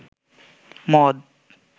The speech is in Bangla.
মদ